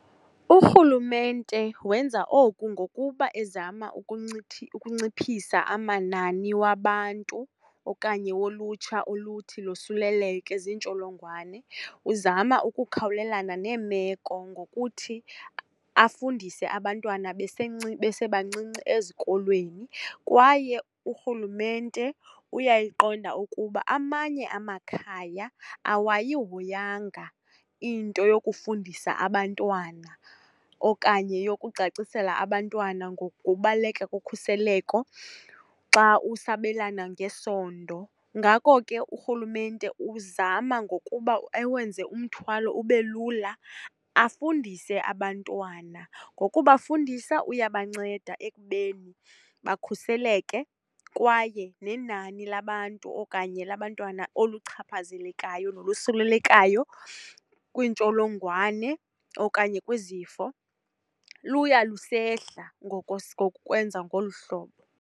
Urhulumente wenza oku ngokuba ezama ukuncuphisa amanani wabantu okanye wolutsha oluthi losuleleke ziintsholongwane. Uzama ukukhawulelana neemeko ngokuthi afundise abantwana besebancinci ezikolweni, kwaye urhulumente uyayiqonda ukuba amanye amakhaya awayihoyanga into yokufundisa abantwana okanye yokucacisela abantwana ngokubaluleka kokhuseleko xa usabelana ngesondo. Ngako ke urhulumente uzama ngokuba awenze umthwalo ube lula, afundise abantwana. Ngokubafundisa uyabanceda ekubeni bakhuseleke kwaye nenani labantu okanye labantwana, oluchaphazelekayo nolusulelekayo kwiintsholongwane okanye kwizifo, luya lusehla ngokwenza ngolu hlobo.